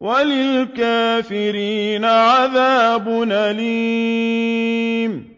وَلِلْكَافِرِينَ عَذَابٌ أَلِيمٌ